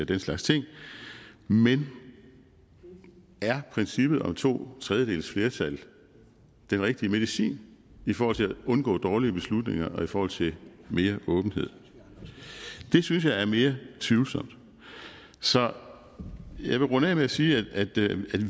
den slags ting men er princippet om to tredjedeles flertal den rigtige medicin i forhold til at undgå dårlige beslutninger og i forhold til mere åbenhed det synes jeg er mere tvivlsomt så jeg vil runde af med at sige at